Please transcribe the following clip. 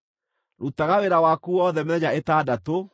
Rutaga wĩra waku wothe mĩthenya ĩtandatũ,